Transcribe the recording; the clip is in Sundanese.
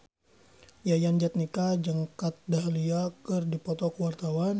Yayan Jatnika jeung Kat Dahlia keur dipoto ku wartawan